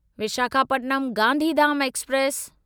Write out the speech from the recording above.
Visakhapatnam Gandhidham express